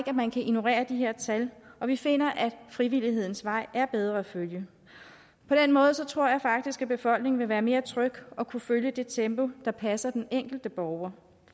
at man kan ignorere de her tal og vi finder at frivillighedens vej er bedre at følge på den måde tror jeg faktisk at befolkningen vil være mere tryg og kunne følge det tempo der passer den enkelte borger